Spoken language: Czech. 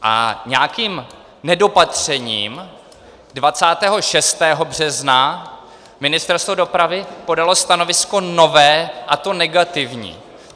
A nějakým nedopatřením 26. března Ministerstvo dopravy podalo stanovisko nové, a to negativní.